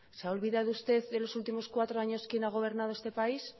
se ha olvidado usted de los últimos cuatro años quién ha gobernado este país